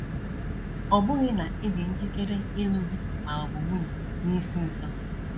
Ọ bụghị na ị dị njikere ịlụ di ma ọ bụ nwunye n’isi nso.